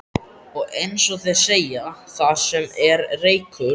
Og, eins og þeir segja: Þar sem er reykur.